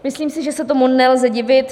Myslím si, že se tomu nelze divit.